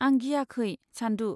आं गियाखै, चान्दु।